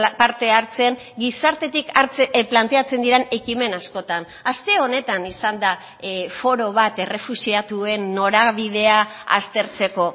parte hartzen gizartetik planteatzen diren ekimen askotan aste honetan izan da foro bat errefuxiatuen norabidea aztertzeko